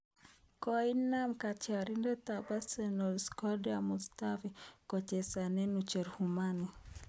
Koumian katyarindet ab Arsenal Shkodran Mustafi kochesane ucherumani